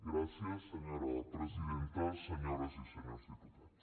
gràcies senyora presidenta senyores i senyors dipu·tats